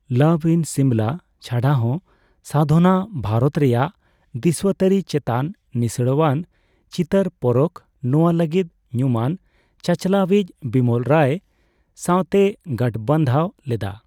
ᱞᱟᱵᱷ ᱤᱱ ᱥᱤᱢᱞᱟ' ᱪᱷᱟᱰᱟᱦᱚᱸ, ᱥᱟᱫᱷᱚᱱᱟ ᱵᱷᱟᱨᱚᱛ ᱨᱮᱭᱟᱜ ᱫᱤᱥᱩᱣᱟᱹᱛᱟᱨᱤ ᱪᱮᱛᱟᱱ ᱤᱥᱲᱟᱣᱟᱱ ᱪᱤᱛᱟᱹᱨ ᱯᱚᱨᱚᱠᱷ ᱼᱱᱚᱣᱟ ᱞᱟᱹᱜᱤᱫ ᱧᱩᱢᱟᱱ ᱪᱟᱼᱪᱟᱞᱟᱣ ᱤᱡ ᱵᱤᱢᱚᱞ ᱨᱟᱭ ᱥᱟᱣᱛᱮᱭ ᱜᱟᱸᱴᱵᱟᱸᱫᱷᱟᱣ ᱞᱮᱫᱟ ᱾